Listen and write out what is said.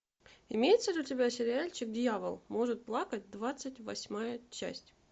имеется ли у тебя сериальчик дьявол может плакать двадцать восьмая часть